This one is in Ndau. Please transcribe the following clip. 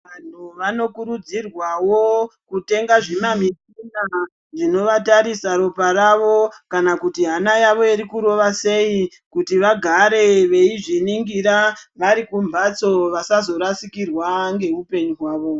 Vanhu vanokurudzirwawo ,kutenga zvimamishina, zvinovatarisa ropa ravo kana kuti hana yavo iri kurova sei ,kuti vagare veizviningira, vari kumhatso, vasazorasikirwa ngeupenyu hwavo.